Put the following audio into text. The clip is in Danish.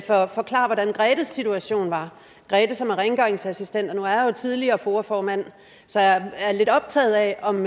forklare hvordan grethes situation var grethe som er rengøringsassistent nu er jeg jo tidligere foa formand så jeg er lidt optaget af om